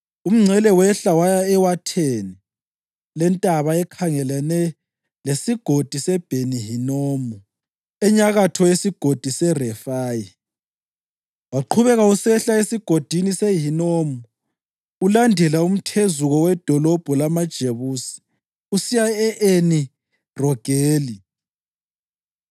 Umngcele wehla waya ewatheni lentaba ekhangelane leSigodi seBheni-Hinomu, enyakatho yeSigodi seRefayi. Waqhubeka usehla eSigodini seHinomu ulandela umthezuko wedolobho lamaJebusi usiya e-Eni Rogeli.